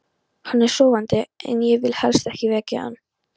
Hann er sofandi og ég vil helst ekki vekja hann.